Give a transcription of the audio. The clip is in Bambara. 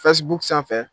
sanfɛ